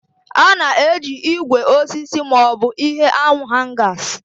A na-eji ígwè, osisi, maọbụ ihe awu Hangas.